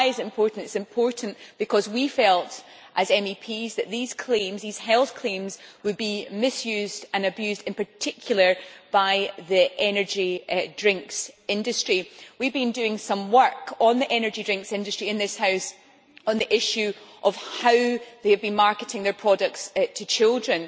Why is it important? It is important because we felt as MEPs that these claims, these health claims, would be misused and abused, in particular by the energy drinks industry. We have been doing some work on the energy drinks industry in this House on the issue of how they have been marketing their products to children